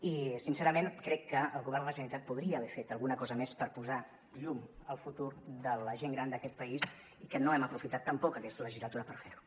i sincerament crec que el govern de la generalitat podria haver fet alguna cosa més per posar llum al futur de la gent gran d’aquest país i que no hem aprofitat tampoc aquesta legislatura per fer ho